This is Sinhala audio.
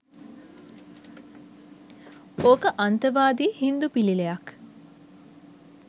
ඕක අන්තවාදී හින්දු පිළිලයක්